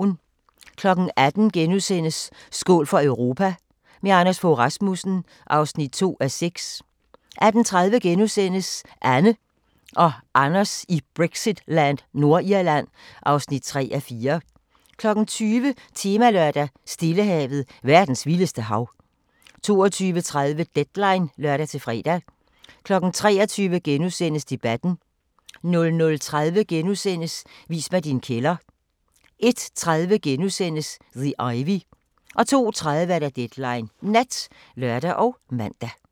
18:00: Skål for Europa – med Anders Fogh Rasmussen (2:6)* 18:30: Anne og Anders i Brexitland: Nordirland (3:4)* 20:00: Temalørdag: Stillehavet – verdens vildeste hav 22:30: Deadline (lør-fre) 23:00: Debatten * 00:30: Vis mig din kælder * 01:30: The Ivy * 02:30: Deadline Nat (lør og man)